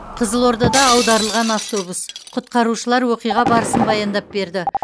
қызылордада аударылған автобус құтқарушылар оқиға барысын баяндап берді